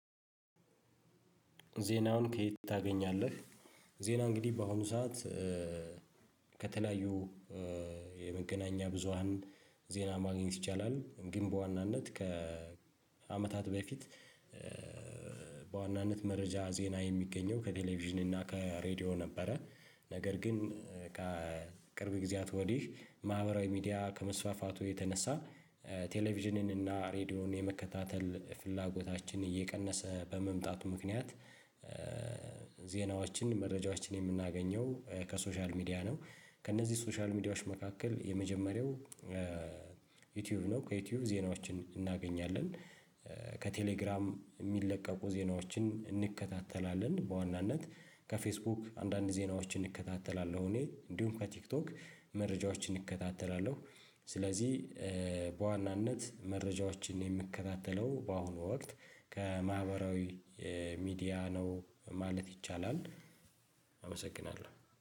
ዜናውን ከየት ታገኛለህ? ዜና እንግዲህ በአሁኑ ሰዓት ከተለያዩ የመገናኛ ብዙሃን ዜና ማግኘት ይቻላል ግን ዋናነት ከአመታት በፊት። በዋናነት መረጃ ዜና የሚገኘው ከቴሌቪዥን እና ከሬዲዮ ነበረ። ነገር ግን ከቅርብ ጊዜያት ወዲህ ማህበራዊ ሚዲያ ከመስፋፋቱ የተነሳ ቴሌቪዥንን እና ሬድዮን የመከታተል ፍላጎታችን እየቀነሰ በመምጣቱ ምክንያት። ዜናዎችን መረጃዎችን የምናገኘው ከሶሻል ሚዲያ ነው። ከእነዚህ ሶሻል ሚዲያዎች መካከል የመጀመሪያው ዩቲዩብ ነው ከዩቲዩብ ዜናዎችን እናገኛለን። ከቴሌግራም የሚለቀቁ ዜናዎችን እንከታተላለን። በዋናነት ከፌስቡክ አንዳንድ ዜናዎችን እከታተላለሁ እኔ እንዲሁም ከቲክቶክ መረጃዎችን እከታተላለሁ። ስለዚህ በዋናነት መረጃዎችን የምከታተለው በአሁኑ ወቅት ከማህበራዊ ሚዲያ ነው ማለት ይቻላል። አመሰግናለሁ